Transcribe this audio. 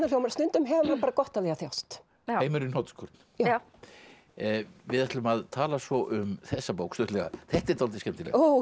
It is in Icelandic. þó maður stundum hefur maður bara gott af því að þjást heimur í hnotskurn við ætlum að tala svo um þessa bók stuttlega þetta er dálítið skemmtilegt